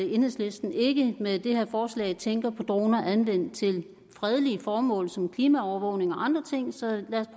enhedslisten ikke med det her forslag tænker på droner anvendt til fredelige formål som klimaovervågning og andre ting så lad